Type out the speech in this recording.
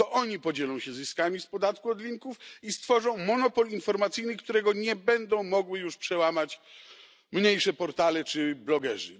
To oni podzielą się zyskami z podatku od linków i stworzą monopol informacyjny, którego nie będą mogły już przełamać mniejsze portale czy blogerzy.